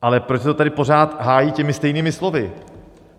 Ale proč se to tady pořád hájí těmi stejnými slovy?